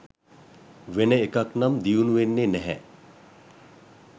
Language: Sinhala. වෙන එකක් නම් දියුණු වෙන්නේ නැහැ.